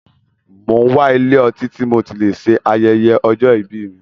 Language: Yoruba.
Mo n wá ilé ọtí tí mo tí lè ṣe ayẹyẹ ọjọ́ ìbí mí.